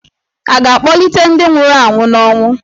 À ga-akpọlite ​​ndị nwụrụ anwụ n'ọnwụ?